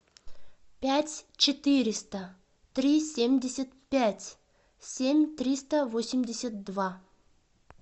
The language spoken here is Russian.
пять четыреста три семьдесят пять семь триста восемьдесят два